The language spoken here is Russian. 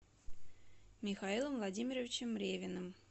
михаилом владимировичем ревиным